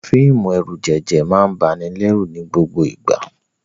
Àwọn fíìmù ẹ̀rùjẹ̀jẹ̀ máa ń banilẹ́rù ní gbogbo ìgbà.